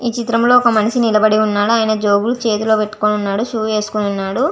ఈ చిత్రం లో ఒక మనిషి నిలబడి వున్నాడు ఆయన జేబ్ లో చేటిల్లు పెటుకొని వున్నాడు షూ వేసుకొని వున్నాడు.